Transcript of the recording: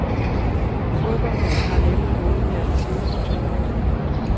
Fodboldholdet har nemlig vundet her de seneste to år.